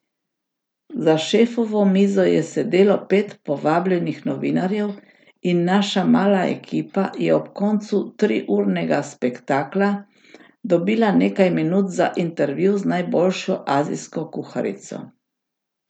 Za šefovo mizo je sedelo pet povabljenih novinarjev in naša mala ekipa je ob koncu triurnega spektakla dobila nekaj minut za intervju z najboljšo azijsko kuharico.